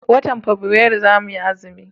watan fabuari zamu yi azumi